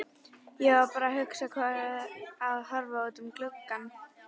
Ég var bara að hugsa og horfa út um gluggann.